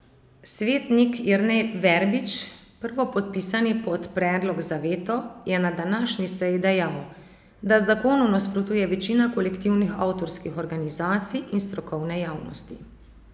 Svetnik Jernej Verbič, prvopodpisani pod predlog za veto, je na današnji seji dejal, da zakonu nasprotuje večina kolektivnih avtorskih organizacij in strokovne javnosti.